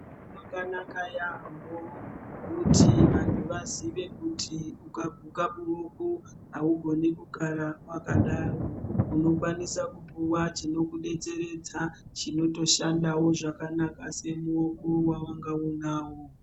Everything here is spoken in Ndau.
Zvakanaka yaambo kuti vantu vazive kuti ukaguka muoko haugoni kugara vakadaro. Unokwanisa kupuva chinokubetseredza chinotoshandavo zvakanaka semuoko vavanga uinavo.